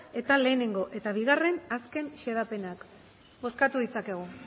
eta batgarrena eta bi azken xedapenak bozkatu ditzakegu